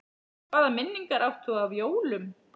Hvaða minningar átt þú af jólum?